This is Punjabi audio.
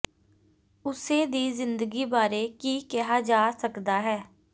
ਉਸੇ ਦੀ ਜ਼ਿੰਦਗੀ ਬਾਰੇ ਕੀ ਕਿਹਾ ਜਾ ਸਕਦਾ ਹੈ